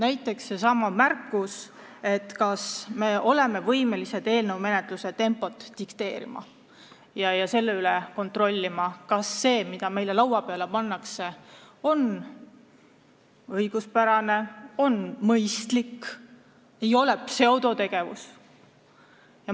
On ju küsitud, kas me oleme võimelised eelnõu menetluse tempot dikteerima ja kontrollima, kas see, mis meile laua peale pannakse, on õiguspärane ja mõistlik, mitte pseudotegevus.